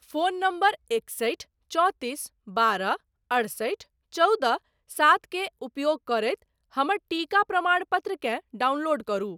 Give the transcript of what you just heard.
Phone number एकसठि चौंतीस बारह अठसठि चौदह सात के उपयोग करैत हमर टीका प्रमाणपत्रकेँ डाउनलोड करु।